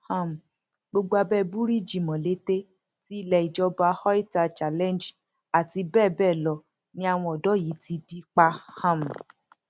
um gbogbo abẹ búríìjì molete ti ilé ìjọba oita challenge àti bẹẹ bẹẹ lọ ni àwọn ọdọ yìí ti dí pa um